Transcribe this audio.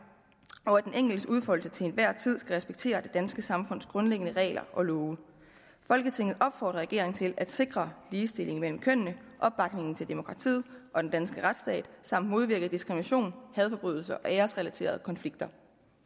og at den enkeltes udfoldelse til hver en tid skal respektere det danske samfunds grundlæggende regler og love folketinget opfordrer regeringen til at sikre ligestilling mellem kønnene opbakning til demokratiet og den danske retsstat samt modvirke diskrimination hadforbrydelser og æresrelaterede konflikter